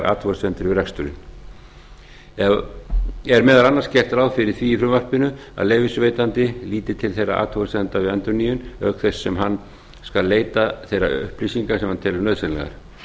athugasemdir við reksturinn er meðal annars gert ráð fyrir því í frumvarpinu að leyfisveitandi lítil til þeirra athugasemda við endurnýjun auk þess sem hann skal leita þeirra upplýsinga sem hann telur nauðsynlegar